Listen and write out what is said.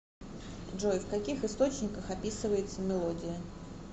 джой в каких источниках описывается мелодия